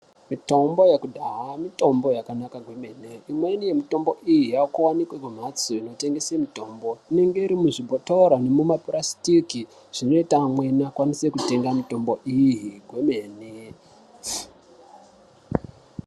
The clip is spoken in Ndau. Mitombo yekudhaya mitombo yakanaka gomwene, imweni yemutombo iyi yava kuwanikwa kumhatso kunotengeswa mitombo inenge iri muzvibhotoro nemu mapurasitiki zvinoita vamweni vatemge ngomwene .